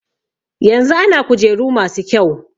Yanzu ana kujeru masu kyau.